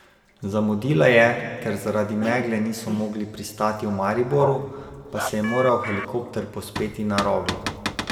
Zamudila je, ker zaradi megle niso mogli pristati v Mariboru, pa se je moral helikopter povzpeti na Roglo.